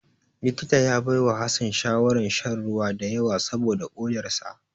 Likita ya baiwa Hassan shawarar shan ruwa da yawa saboda kodar sa.